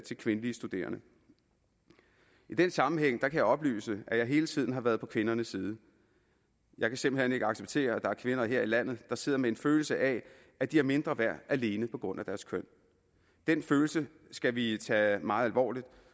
til kvindelige studerende i den sammenhæng kan jeg oplyse at jeg hele tiden har været på kvindernes side jeg kan simpelt hen ikke acceptere at der er kvinder her i landet der sidder med en følelse af at de er mindre værd alene på grund af deres køn den følelse skal vi tage meget alvorligt